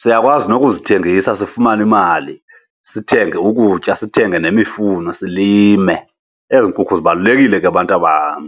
Siyakwazi nokuzithengisa sifumane imali, sithenge ukutya, sithenge nemifuno silime. Ezi nkukhu zibalulekile ke bantabam.